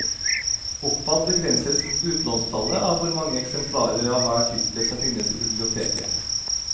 Oppad begrenses utlånstallet av hvor mange eksemplarer av hver tittel som finnes i biblioteket.